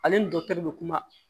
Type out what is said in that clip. Ale ni dɔkitɛriw be kuma